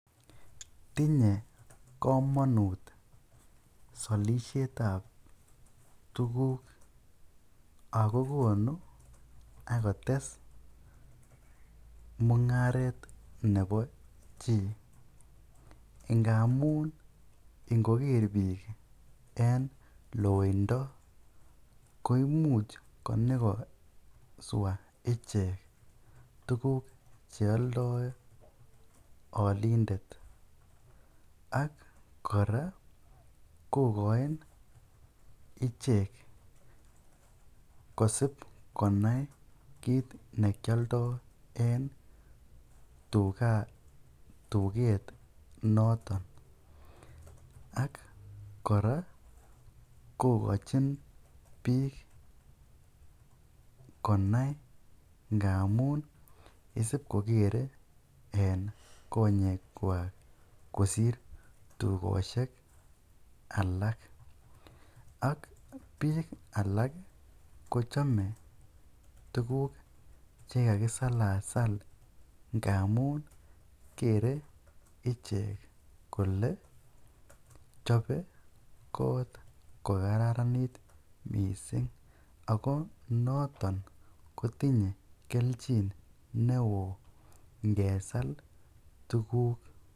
Tinye komonut solishet ab tuguk ago konu ak kotes mung'aret nebo chi ngamun ingoker biik en loindo koimuch konyo koswa ichek tuguk che oldoi olindet ak kora kogoin ichek kosib konai kiit ne kioldo en tuget noton ak kora kogochin biik konai ngamun isib koger en konyekwak kosir tugosiek alak. Ak biik alak kochome tuguk che kagisalaal ngamun kere ichek kole chobe koot ko kararanit mising, ago noton kotinye kelchin neo ingesal tuguk.